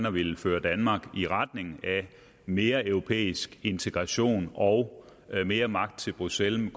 at ville føre danmark i retning af mere europæisk integration og mere magt til bruxelles jeg